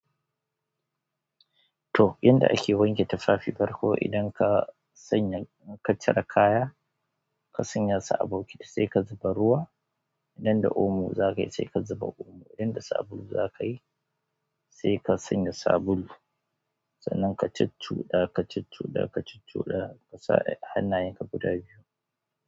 To, yanda ake wanke tufafi farko idan ka sanya ka cire kaya, ka sanya su bokiti sai ka zuba ruwa. Idan da omo zaka yi sai ka zuba omo. Idan da sabulu zaka yi sai ka sanya sabulu. Sannan ka cuccuɗa, ka cuccuɗa, ka cuccuɗa, ka sa hannayenka guda biyu.